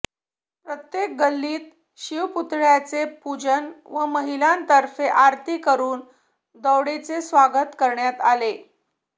प्रत्येक गल्लीत शिवपुतळय़ाचे पूजन व महिलांतर्फे आरती करून दौडीचे स्वागत करण्यात आले